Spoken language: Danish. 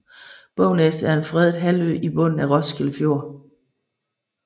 Bognæs er en fredet halvø i bunden af Roskilde Fjord